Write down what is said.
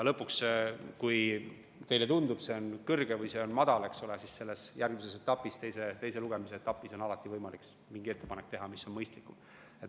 Lõpuks, kui teile tundub, et see on kõrge või see on madal, siis järgmises etapis, teise lugemise etapis on alati võimalik teha mingi ettepanek, mis on mõistlikum.